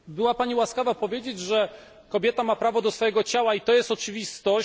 Była Pani łaskawa powiedzieć, że kobieta ma prawo do swojego ciała i to jest oczywistość.